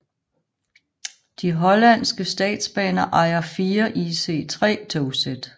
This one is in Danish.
De hollandske statsbaner ejer fire ICE 3 togsæt